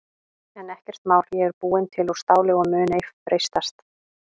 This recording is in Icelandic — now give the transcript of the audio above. En ekkert mál ég er búin til úr STÁLI og mun ei freistast.